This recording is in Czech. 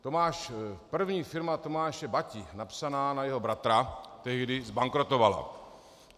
První firma Tomáše Bati napsaná na jeho bratra tehdy zbankrotovala.